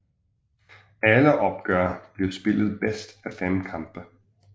Alle opgør blev spillet bedst af fem kampe